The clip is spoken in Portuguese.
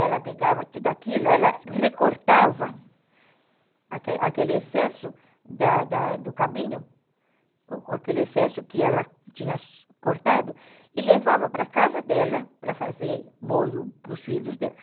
ela pegava tudo aquilo, ela recortava aquele excesso da da do cabinho, aquele excesso que ela tinha cortado e levava para casa dela para fazer molho para os filhos dela.